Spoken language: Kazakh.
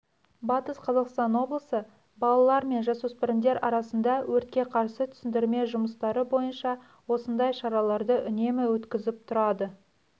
батыс қазақстан облысы балалар мен жасөспірімдер арасында өртке қарсы түсіндірме жұмыстары бойынша осындай шараларды үнемі өткізіп тұрады